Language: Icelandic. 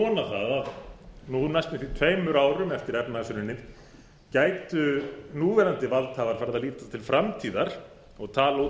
að nú næstum því tveimur árum eftir efnahagshrunið gætu núverandi valdhafar farið að líta til framtíðar og tala út